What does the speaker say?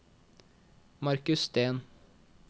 Marcus Steen